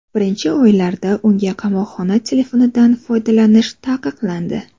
Birinchi oylarda unga qamoqxona telefonidan foydalanish taqiqlandi.